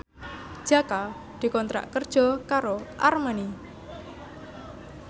Jaka dikontrak kerja karo Armani